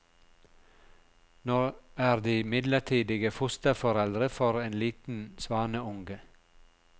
Nå er de midlertidige fosterforeldre for en liten svaneunge.